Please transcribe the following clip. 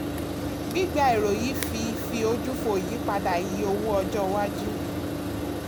gbígba èrò yìí fi fi ojú fò ìyípadà iye owó ọjọ́ iwájú.